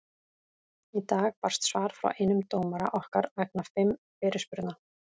Í dag barst svar frá einum dómara okkar vegna fimm fyrirspurna.